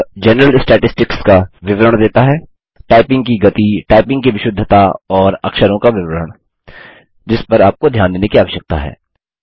यह general statistics का विवरण देता है टाइपिंग की गति टाइपिंग की विशुद्धता और अक्षरों का विवरण जिस पर आपको ध्यान देने की आवश्यकता है